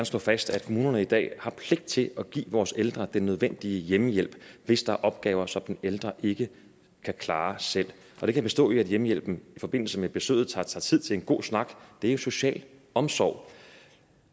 slå fast at kommunerne i dag har pligt til at give vores ældre den nødvendige hjemmehjælp hvis der er opgaver som den ældre ikke kan klare selv og det kan bestå i at hjemmehjælpen i forbindelse med besøget tager sig tid til en god snak det er jo social omsorg